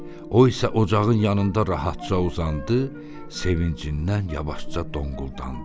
O isə ocağın yanında rahatca uzandı, sevincindən yavaşca donquldandı.